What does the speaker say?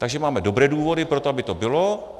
Takže máme dobré důvody pro to, aby to bylo.